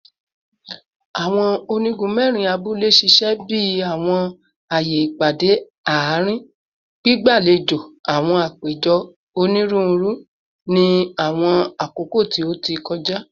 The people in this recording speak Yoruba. Awọn onigun mẹrin abule ṣiṣẹ bi awọn aaye ipade aarin, gbigbalejo awọn apejọ oniruuru ni awọn akoko ti o ti kọja